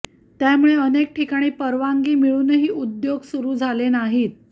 त्यामुळे अनेक ठिकाणी परवानगी मिळूनही उद्योग सुरू झाले नाहीत